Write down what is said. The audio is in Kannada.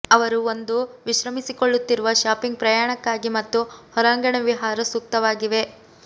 ಅವರು ಒಂದು ವಿಶ್ರಮಿಸಿಕೊಳ್ಳುತ್ತಿರುವ ಶಾಪಿಂಗ್ ಪ್ರಯಾಣಕ್ಕಾಗಿ ಮತ್ತು ಹೊರಾಂಗಣ ವಿಹಾರ ಸೂಕ್ತವಾಗಿವೆ